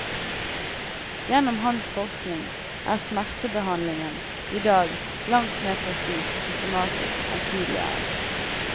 Gjennom hans forskning er smertebehandlingen i dag langt mer presis og systematisk enn tidligere.